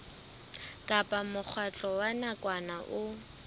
kapa mokgatlo wa nakwana o